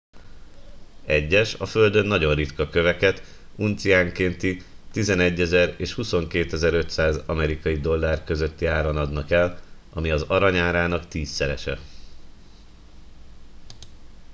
egyes a földön nagyon ritka köveket unciánkénti 11,000 és 22,500 amerikai dollár közötti áron adnak el ami az arany árának tízszerese